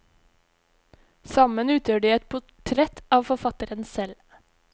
Sammen utgjør de et portrett av forfatteren selv.